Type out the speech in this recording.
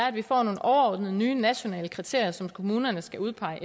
at vi får nogle overordnede nye nationale kriterier som kommunerne skal udpege